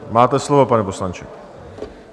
Máte slovo, pane poslanče.